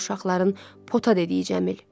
dedi uşaqların pota dediyi Cəmil.